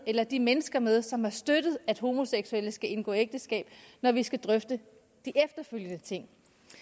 eller de mennesker med som har støttet at homoseksuelle skal kunne indgå ægteskab når vi skal drøfte de efterfølgende ting